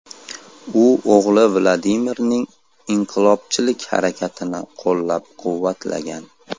U o‘g‘li Vladimirning inqilobchilik harakatini qo‘llab-quvvatlagan.